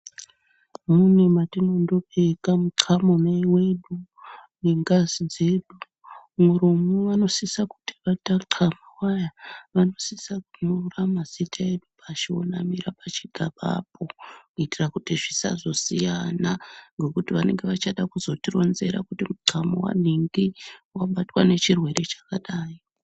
Mune matinondobeka mucano wedu nengazi dzedu muromo vanosise kuti tacama waya vanosisa kunyora mazita edu vonamira pachigabapo kuitira kuti zvisazosiyana ngekuti vanenge vachada kuzotironzera kuti mucamo wanhingi wabatwa ngechirwere chakadai.